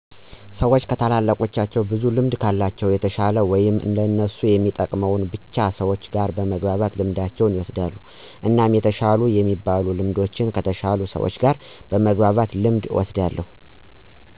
ሰዎች ከታላላቆቹ ብዙ ልምድ ከለቸው የተሸለ ወይም ለእነሱ የሚጠቅመውን ብቻ ሰዎች ጋር በመግባባት ልምዶችን ይወስዳሉ። እናም የተሻሉ የሚበሉ ልምዶችን ከተሸሉ ሰዎች በመግባባት ልምድ እወስዳለሁ